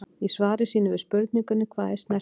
Í svari sínu við spurningunni Hvað er snertiskyn?